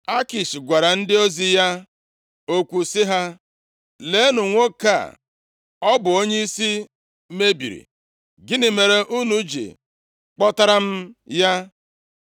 Akish gwara ndị ozi ya okwu sị ha, “Leenụ nwoke a! Ọ bụ onyeisi mebiri! Gịnị mere unu ji kpọtara m ya?